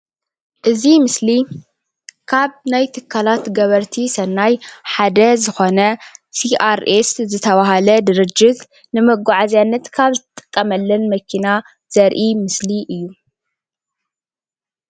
እዚ ምስሊ ካብ ናይ ትካላት ገበርቲ ሰናይ ሓደ ዝኾነ ሴኣርኤስ ዝተብሃለ ድርጅት ንመጓዓዝያነት ካብ እንጥቀመለን መኪና ዘርኢ ምስሊ እዩ።